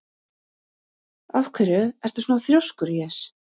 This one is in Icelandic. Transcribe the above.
Af hverju ertu svona þrjóskur, Jes?